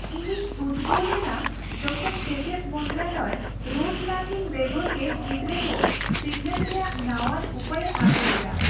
ᱤᱧᱤᱧ ᱩᱫᱜᱟᱟᱹᱣ ᱞᱮᱱᱟ ᱡᱚᱠᱷᱚᱱ ᱥᱮᱪᱮᱫ ᱢᱚᱱᱛᱨᱟᱞᱚᱭ ᱨᱳᱴ ᱞᱟᱨᱱᱤᱝ ᱵᱮᱜᱚᱨ ᱜᱮ ᱜᱤᱫᱽᱨᱟᱹ ᱠᱚ ᱥᱤᱠᱷᱱᱟᱹᱛ ᱨᱮᱭᱟᱜ ᱱᱟᱣᱟᱱ ᱩᱯᱟᱹᱭᱮ ᱟᱹᱜᱩ ᱞᱮᱫᱟ ᱾